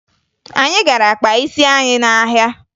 Anyị gara kpaa isi anyị n'ahịa